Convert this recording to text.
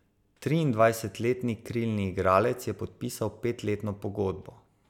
Triindvajsetletni krilni igralec je podpisal petletno pogodbo.